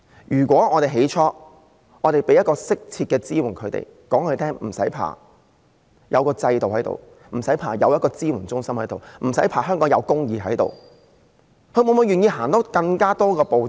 如果我們當初提供適切的支援給她們，告訴她們不用怕，我們有制度，有支援中心，香港有公義，她們會否願意多走一步？